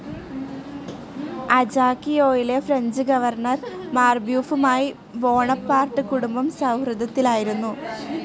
അജാക്കിയോയിലെ French governor മാർബ്യൂഫുമായി Bonaparte കുടുംബം സൗഹൃദത്തിലായിരുന്നു.